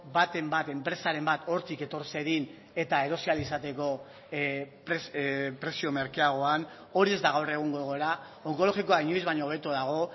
baten bat enpresaren bat hortik etor zedin eta erosi ahal izateko prezio merkeagoan hori ez da gaur egungo egoera onkologikoa inoiz baino hobeto dago